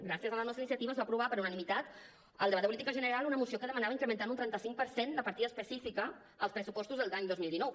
gràcies a la nostra iniciativa es va aprovar per unanimitat al debat de política general una moció que demanava incrementar un trenta cinc per cent la partida específica als pressupostos de l’any dos mil dinou